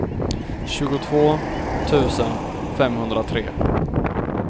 tjugotvå tusen femhundratre